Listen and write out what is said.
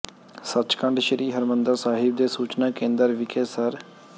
ਸੱਚਖੰਡ ਸ੍ਰੀ ਹਰਿਮੰਦਰ ਸਾਹਿਬ ਦੇ ਸੂਚਨਾ ਕੇਂਦਰ ਵਿਖੇ ਸ